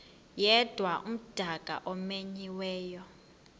yedwa umdaka omenyiweyo